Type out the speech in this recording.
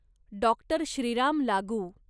doctor Shriram लागू